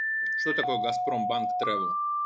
что такое газпромбанк трэвэл